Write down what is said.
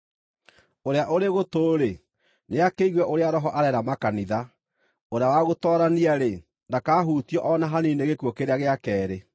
Ũrĩa ũrĩ gũtũ-rĩ, nĩakĩigue ũrĩa Roho areera makanitha. Ũrĩa wa gũtoorania-rĩ, ndakahutio o na hanini nĩ gĩkuũ kĩrĩa gĩa keerĩ.